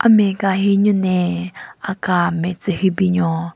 Ame ka hi an nyu na aka nme tsü hyu binyon.